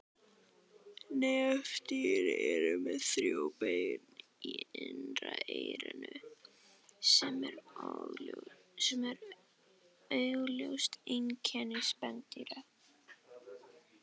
Nefdýr eru með þrjú bein í innra eyranu sem eru augljós einkenni spendýra.